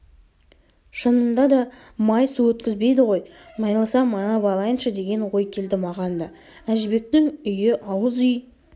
шынында да май су өткізбейді ғой майласам майлап алайыншы деген ой келді маған да әжібектің үйіауыз үй